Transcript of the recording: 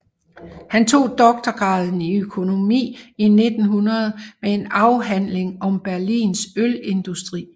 Han tog doktorgraden i økonomi i 1900 med en afhandling om Berlins ølindustri